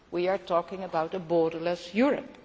We are talking about a borderless Europe.